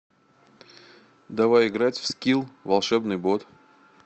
давай играть в скилл волшебный бот